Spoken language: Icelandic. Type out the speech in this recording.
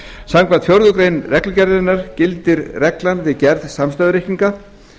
samkvæmt fjórðu grein reglugerðarinnar gildir reglan við gerð samstæðureikninga